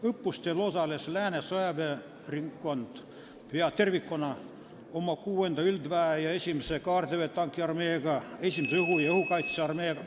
Õppustel osales Lääne sõjaväeringkond peaaegu tervikuna oma 6. üldväe ja 1. kaardiväe tankiarmeega, 1. õhu- ja õhukaitsearmeega ...